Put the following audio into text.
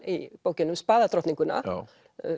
í bókinni um